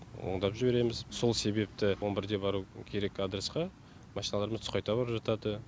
ондап жібереміз сол себепті он бірде бару керек адресқа машиналарымыз түс қайта барып жатады